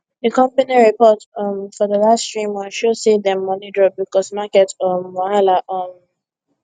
d company report um for d last three months show say dem money drop because market um wahala um